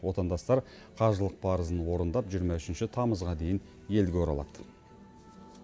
отандастар қажылық парызын орындап жиырма үшінші тамызға дейін елге оралады